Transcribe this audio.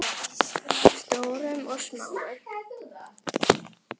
Stórum og smáum.